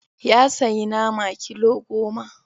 Ya sayi nama kilo goma.